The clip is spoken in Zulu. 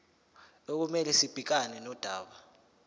okumele sibhekane nodaba